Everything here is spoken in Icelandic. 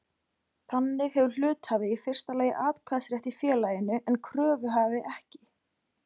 Þannig hefur hluthafi í fyrsta lagi atkvæðisrétt í félaginu en kröfuhafi ekki.